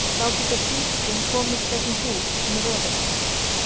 Þá getur sýkillinn komist gegnum húð sem er rofin.